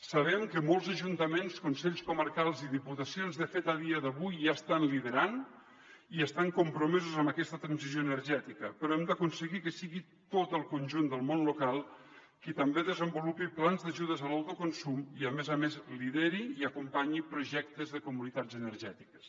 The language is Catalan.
sabem que molts ajuntaments consells comarcals i diputacions de fet a dia d’avui ja estan liderant i estan compromesos amb aquesta transició energètica però hem d’aconseguir que sigui tot el conjunt del món local qui també desenvolupi plans d’ajudes a l’autoconsum i a més a més lideri i acompanyi projectes de comunitats energètiques